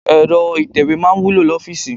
Ẹ̀rọ itewe máa ń wúlò l'ofiisi.